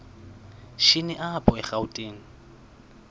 shini apho erawutini